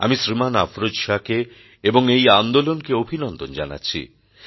আমি শ্রীমান অফরোজ শাহকে এবং এই আন্দোলনকে অভিনন্দন জানাচ্ছি